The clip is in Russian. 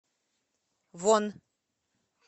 вон